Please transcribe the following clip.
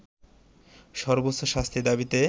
সর্বোচ্চ শাস্তির দাবিতে